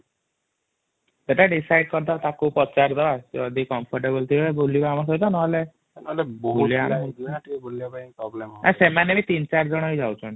ନହେଲେ ସେମାନେ ବି ୩ ୪ ଜଣ ଯାଉଛନ୍ତି